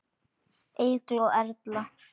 Eygló Erla.